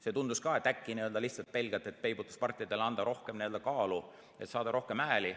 See tundus ka olevat selline, et äkki lihtsalt pelgalt antakse peibutuspartidele rohkem kaalu, et saada rohkem hääli.